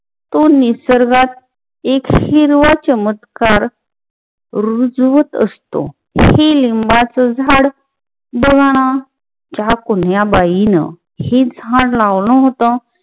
तो निसर्गात एक हिरवा चमत्कार रुजवत असतो. हे लिम्बाच झाड बघाना ह्या कुण्या बाईन हे झाड लावलं होत.